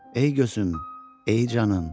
Ey gözüm, ey canım.